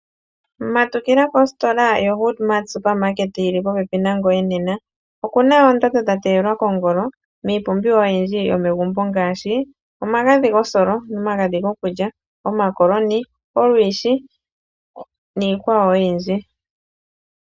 Matukila positora yoHoodMart supermarket yili popepi nangoye nena. Okuna oondando dha teyelwa kongolo miipumbiwa oyindji yomegumbo ngaashi: omagadhi gosolo, omagadhi gokulya, omakoloni, olwiishi niikwawo oyindji.